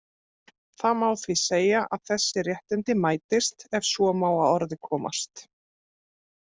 Það má því segja að þessi réttindi mætist, ef svo má að orði komast.